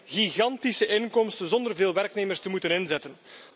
Ze creëren gigantische inkomsten, zonder veel werknemers te moeten inzetten.